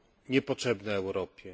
niepotrzebne Europie.